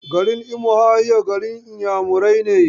Garin Ummuahia, garin Inyamurai ne.